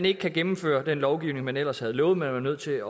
ikke gennemføre den lovgivning man ellers havde lovet men er nødt til